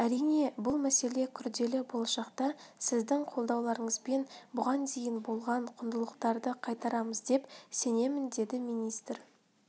әрине бұл мәселе күрделі болашақта сіздің қолдауларыңызбен бұған дейін болған құндылықтарды қайтарамыз деп сенемін деді министр